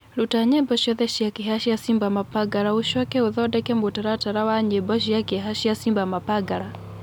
rũta nyĩmbo cĩothe cĩa kieha cĩa samba mapangala ucoke ũthondeke mũtaratara wa nyĩmbo cĩa kieha cĩa samba mapangala